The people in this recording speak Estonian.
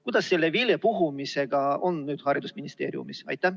Kuidas selle vilepuhumisega nüüd on haridusministeeriumis?